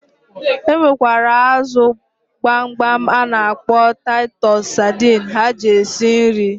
E nwekwara azụ gbamgbam a na-akpọ taịtus sadịn ha ji esi nri.